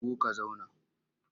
Shigo ka zauna!